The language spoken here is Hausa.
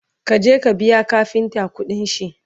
ka je ka biya kafinta ƙuɗinshi!